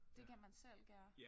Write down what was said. Det kan man selv gøre